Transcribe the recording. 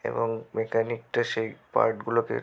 এবং মেকানিক -টা সেই পার্ট গুলোকে--